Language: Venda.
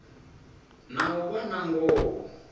na u vha na ngoho